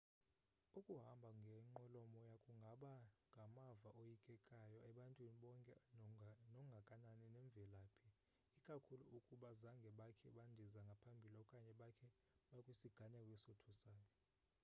ukuhamba ngenqwelomoya kungaba ngamava oyikekayo ebantwini bonke nongakanani nemvelaphi ikakhulu ukuba zange bakhe bandize ngaphambili okanye bakhe bakwisiganeko esothusayo